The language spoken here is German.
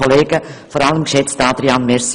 Vielen Dank, dass ich als Erste sprechen darf.